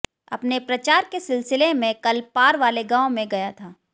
अपने प्रचार के सिलसिले में कल पार वाले गांव में गया था